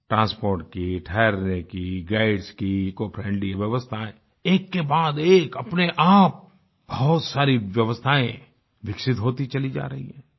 transport की ठरहने की गाइड्स की इकोफ्रेंडली व्यवस्थायें एककेबाद एक अपने आप बहुत सारी व्यवस्थायें विकसित होती चली जा रही हैं